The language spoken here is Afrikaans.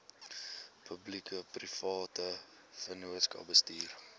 publiekeprivate vennootskappe bestuur